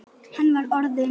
Hann var orðinn.